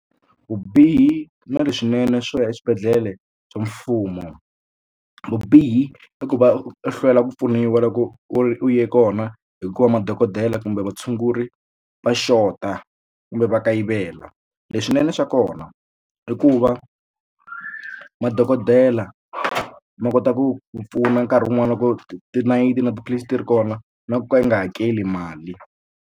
Vubihi na leswinene swo ya eswibedhlele swa mfumo vubihi i ku va u hlwela ku pfuniwa loko u ye kona hikuva madokodela kumbe vatshunguri va xota kumbe va kayivela leswinene swa kona i ku va madokodela ma kota ku ku pfuna nkarhi wun'wani loko tinayiti na tiphilisi ti ri kona na ku nga hakeli mali.